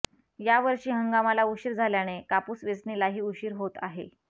यावर्षी हंगामाला उशीर झाल्याने कापूस वेचणीलाही उशीर होत आहे